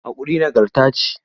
Haƙuri nagarta ce.